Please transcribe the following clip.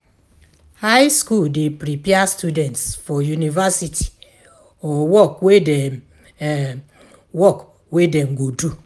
High school de prepare students for university or work wey dem work wey dem go do